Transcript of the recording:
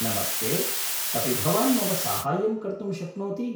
नमस्ते, अपि भवान् मम साहाय्यं कर्तुं शक्नोति?